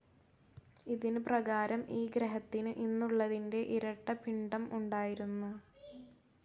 ഇതിന് പ്രകാരം ഈ ഗ്രഹത്തിന് ഇന്നുള്ളതിൻ്റെ ഇരട്ട പിണ്ഡം ഉണ്ടായിരുന്നു.